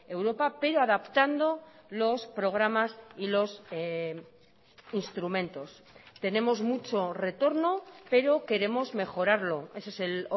europa pero adaptando los programas y los instrumentos tenemos mucho retorno pero queremos mejorarlo ese es el